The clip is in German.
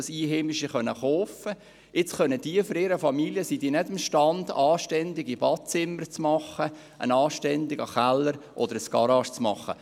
Die neuen Besitzer sind jetzt aber nicht in der Lage, für ihre Familie anständige Badezimmer einzubauen, einen anständigen Keller oder eine Garage einzurichten.